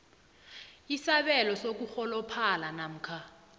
isabelo sokurholophala namkha